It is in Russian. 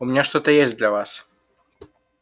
у меня что-то есть для вас